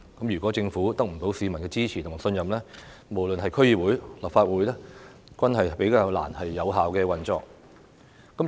如果政府得不到市民的支持和信任，無論是區議會或立法會，均比較難以有效運作。